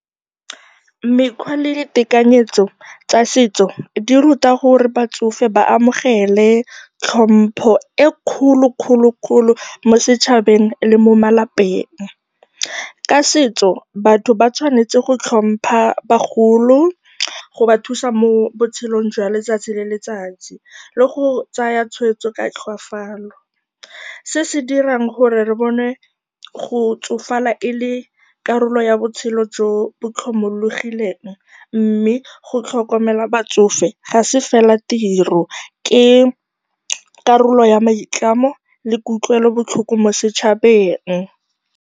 Mekgwa le ditekanyetso tsa setso di ruta gore batsofe ba amogele tlhompho e e kgolokgolokgolo mo setšhabeng le mo malapeng. Ka setso, batho ba tshwanetse go tlhompha bagolo, go ba thusa mo botshelong jwa letsatsi le letsatsi le go tsaya tshweetso ka tlhoafalo. Se se dira gore re bone go tsofala e le karolo ya botshelo jo bo tlhomologileng mme go tlhokomela batsofe ga se fela tiro, ke karolo ya maitlamo le kutlwelobotlhoko mo setšhabeng.